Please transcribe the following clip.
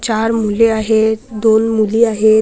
चार मुले आहेत दोन मुली आहेत.